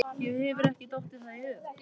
Þér hefur ekki dottið það í hug?